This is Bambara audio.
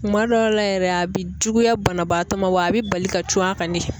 Kuma dɔw la yɛrɛ a bi juguya banabaatɔ ma wa a bi bali ka cun a ka de.